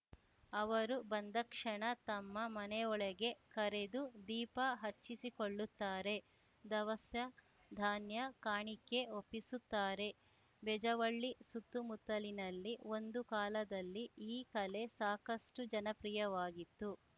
ಅವರು ಬಂದಕ್ಷಣ ತಮ್ಮ ಮನೆಯೊಳಗೆ ಕರೆದು ದೀಪ ಹಚ್ಚಿಸಿಕೊಳ್ಳುತ್ತಾರೆ ಧವಸ ಧಾನ್ಯ ಕಾಣಿಕೆ ಒಪ್ಪಿಸುತ್ತಾರೆ ಬೆಜ್ಜವಳ್ಳಿ ಸುತ್ತುಮುತ್ತಲಿನಲ್ಲಿ ಒಂದು ಕಾಲದಲ್ಲಿ ಈ ಕಲೆ ಸಾಕಷ್ಟುಜನಪ್ರಿಯವಾಗಿತ್ತು